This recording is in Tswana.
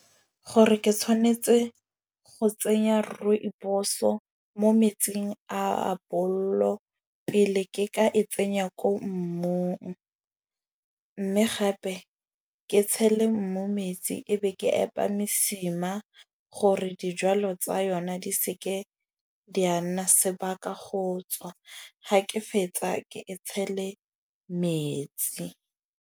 Gore ke tshwanetse go tsenya rooibos-o mo metsing a abollo pele ke ka e tsenya ko mmung. Mme gape ke tshele mmu metsi ebe ke epa mosima, gore dijwalo tsa yona di seke di a nna sebaka go tswa. Ga ke fetsa ke e tshele metsi.